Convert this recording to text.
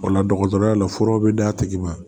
O la dɔgɔtɔrɔya la furaw bɛ d' a tigi ma